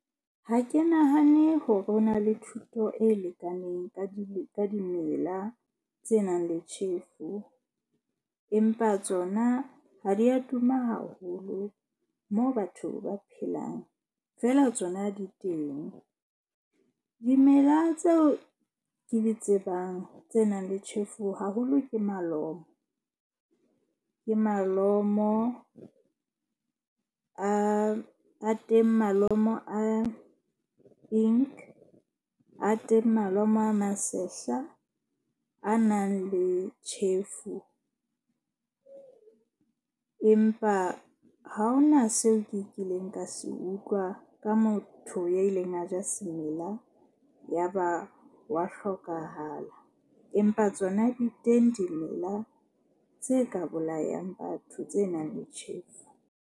Ha ke nahane hore ho na le thuto e lekaneng ka dimela tse nang le tjhefu. Empa tsona ha di a tuma haholo moo batho ba phelang, feela tsona di teng. Dimela tseo ke di tsebang tse nang le tjhefu haholo ke malomo. Ke malomo a a teng, malomo a Inc a teng, malomo a masehla a nang le tjhefu. Empa ha hona seo ke kileng ka se utlwa ka motho ya ileng a ja semela ya ba wa hlokahala. Empa tsona di teng dimela tse ka bolayang batho tse nang le tjhefu.